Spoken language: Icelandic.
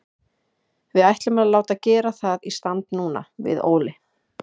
Við ætlum að láta gera það í stand núna, við Óli.